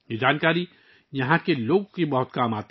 یہ معلومات یہاں کے لوگوں کے لیے بہت مفید ہیں